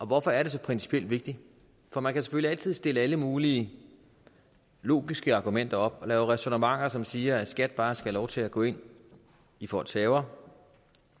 hvorfor er det så principielt vigtigt for man kan selvfølgelig altid stille alle mulige logiske argumenter op og lave ræsonnementer som siger at skat bare skal have lov til at gå ind i folks haver